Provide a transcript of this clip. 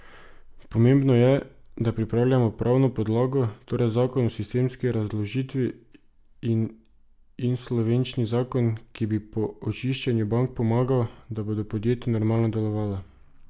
Pomembno je, da pripravljamo pravno podlago, torej zakon o sistemski razdolžitvi in insolvenčni zakon, ki bo po očiščenju bank pomagal, da bodo podjetja normalno delovala.